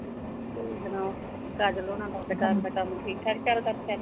ਤੁਸੀਂ ਸੁਣਾਓ। ਕਾਜਲ ਹੋਰਾਂ ਦਾ ਦੁਕਾਨ ਦਾ ਕੰਮ ਠੀਕ-ਠਾਕ ਚਲਦਾ ਸਾਰਾ।